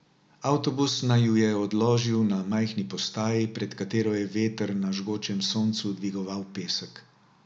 Avtobus naju je odložil na majhni postaji, pred katero je veter na žgočem soncu dvigoval pesek.